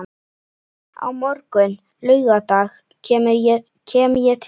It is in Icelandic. Á morgun, laugardag, kem ég til þín.